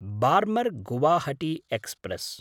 Barmer Guwahati express